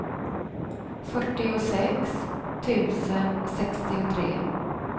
fyrtiosex tusen sextiotre